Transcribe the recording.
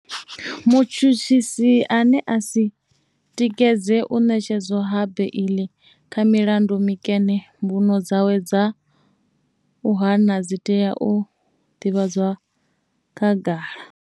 Mutshutshisi ane a si tikedze u ṋetshedzwa ha beiḽi kha milandu mikene mbuno dzawe dza u hana dzi tea u ḓivhadzwa khagala.